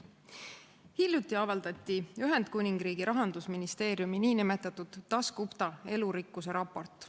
Hiljuti avaldati Ühendkuningriigi rahandusministeeriumi nn Dasgupta elurikkuse raport.